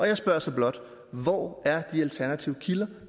jeg spørger så blot hvor er de alternative kilder